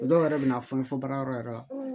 O dɔw yɛrɛ bɛ na fɔ n fɔ baara yɔrɔ yɛrɛ la